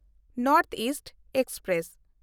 north east express